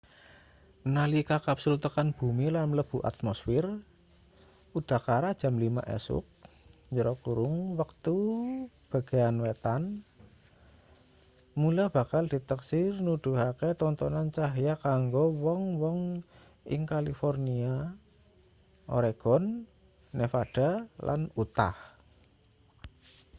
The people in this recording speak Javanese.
nalika kapsul tekan bumi lan mlebu atmosfir udakara jam 5 esuk wektu bagean wétan mula bakal diteksir nuduhake tontonan cahya kanggo wong-wong ing kalifornia oregon nevada lan utah